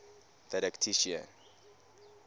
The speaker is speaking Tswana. didactician